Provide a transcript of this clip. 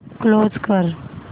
close कर